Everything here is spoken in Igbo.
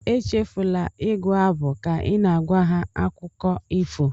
Echefula ịgụ abụ ka ị na-agwa ha akụkọ ifo